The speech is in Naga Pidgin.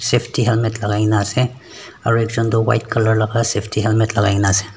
safety helmet lagai kena ase aro ekjun toh white color laga safety helmet lagai kena ase.